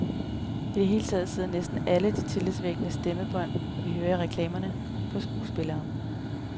I det hele taget sidder næsten alle de tillidsvækkende stemmebånd, vi hører i reklamerne, på skuespillere.